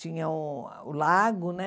Tinha uh o lago, né?